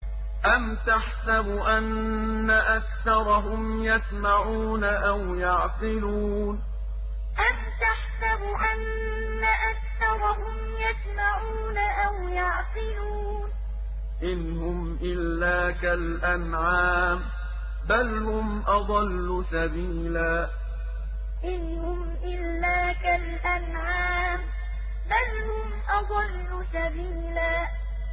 أَمْ تَحْسَبُ أَنَّ أَكْثَرَهُمْ يَسْمَعُونَ أَوْ يَعْقِلُونَ ۚ إِنْ هُمْ إِلَّا كَالْأَنْعَامِ ۖ بَلْ هُمْ أَضَلُّ سَبِيلًا أَمْ تَحْسَبُ أَنَّ أَكْثَرَهُمْ يَسْمَعُونَ أَوْ يَعْقِلُونَ ۚ إِنْ هُمْ إِلَّا كَالْأَنْعَامِ ۖ بَلْ هُمْ أَضَلُّ سَبِيلًا